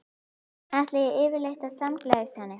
Ætlaði ég yfirleitt að samgleðjast henni?